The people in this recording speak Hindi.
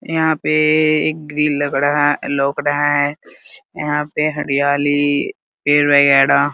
यहां पे एक ग्रिल लग रहा है लोक रहा है यहां पे हरियाली पेड़ वगैरा --